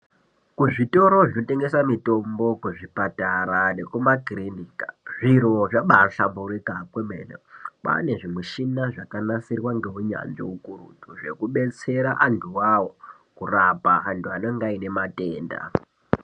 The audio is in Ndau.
Kuzvitoro zvinotengesa mitombo kuzvipatara nekumakirinika zviroo zvambayihlamburuka zvemene kwaane zvimushina zvakanasirwa nounyanzvi hukurutu zvokubetsera andu iwawo kurapa andu anenge aine matenda.